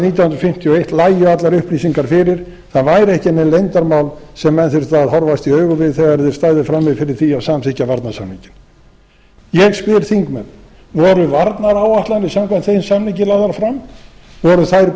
nítján hundruð fimmtíu og eitt lægju allar upplýsingar fyrir það væru ekki nein leyndarmál sem menn þyrftu að horfast í augu við þegar þeir stæðu frammi fyrir því að samþykkja varnarsamninginn ég spyr þingmenn voru varnaráætlanir samkvæmt þeim samningi lagðar fram voru þær